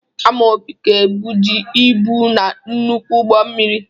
Amaobi ga ebuji ibu n'nnukwu ụgbọ mmiri.